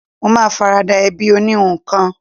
Mo ma farada ẹbí oníhun kan